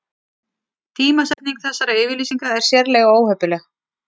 Tímasetning þessara yfirlýsinga er sérlega óheppileg